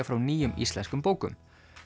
frá nýjum íslenskum bókum